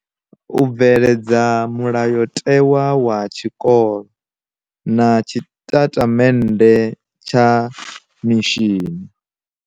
U bveledza mulayotewa wa tshikolo na tshitatamennde tsha mishini.